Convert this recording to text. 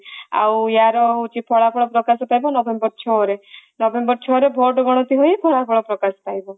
ଆଉ ୟାର ହୋଉଛି ଫଳାଫଳ ପ୍ରକାଶ ପାଇବା november ଛଅ ରେ november ଛଅ ରେ ଭୋଟ ଗଣତି ହେଇ ଫଳାଫଳ ପ୍ରକାଶ ପାଇବ